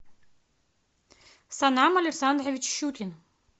санам александрович щукин